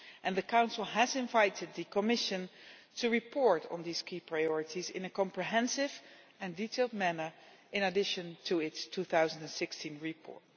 The Council has invited the Commission to report on these key priorities in a comprehensive and detailed manner in addition to its 2016 report.